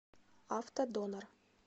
автодонор